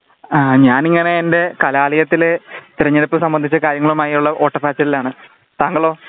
ആ ഞാനിങ്ങനെ എന്റെ കലാലയത്തിലെ തിരഞ്ഞെടുപ്പ് സംബന്ധിച്ച കാര്യങ്ങളുമായുള്ള ഓട്ട പാച്ചിലിലാണ് താങ്കളോ